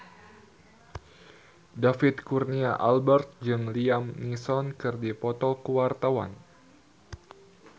David Kurnia Albert jeung Liam Neeson keur dipoto ku wartawan